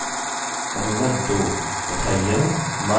तथा यह my एको करना चाहिए